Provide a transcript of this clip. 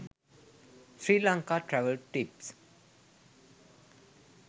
sri lanka travel tips